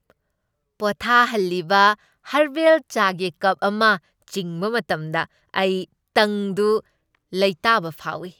ꯄꯣꯊꯥꯍꯜꯂꯤꯕ ꯍꯔꯕꯜ ꯆꯥꯒꯤ ꯀꯞ ꯑꯃ ꯆꯤꯡꯕ ꯃꯇꯝꯗ ꯑꯩ ꯇꯪꯗꯨ ꯂꯩꯇꯥꯕ ꯐꯥꯎꯏ꯫